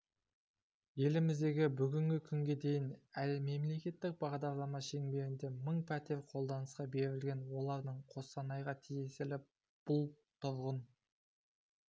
елімізде бүгінгі күнге дейін мемлекеттік бағдарлама шеңберінде мың пәтер қолданысқа берілген олардың қостанайға тиесілі бұл тұрғын